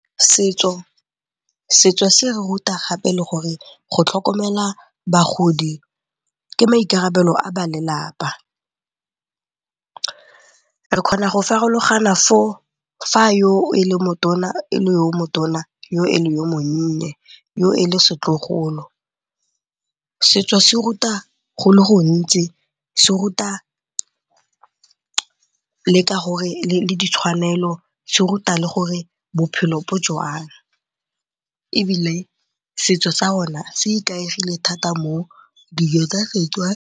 Setso se re ruta gape le gore go tlhokomela bagodi ke maikarabelo a ba lelapa. Re kgona go farologana fa yo e le yo motona, yo e le yo monnye, yo e le setlogolo. Setso se ruta go le gontsi, se ruta le ka gore ditshwanelo se ruta le gore bophelo bo jang ebile setso sa rona se ikaegile thata mo dijo tsa Setswana.